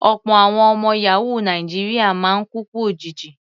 Ọ̀pọ̀ àwọn ọmọ yàhóò Nàìjíríà máa ń kú ikú òjijì.